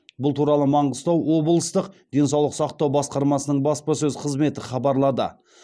бұл туралы маңғыстау облыстық денсаулық сақтау басқармасының баспасөз қызметі хабарлады